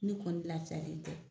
Ne kɔni lafiyalen tɛ